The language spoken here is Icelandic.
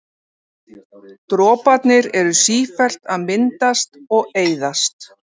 Droparnir eru sífellt að myndast og eyðast.